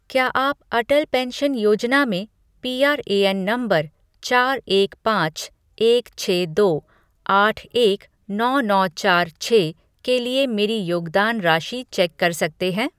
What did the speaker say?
क्या आप अटल पेंशन योजना में पीआरएएन नंबर चार एक पाँच एक छः दो आठ एक नौ नौ चार छः के लिए मेरी योगदान राशि चेक कर सकते हैं?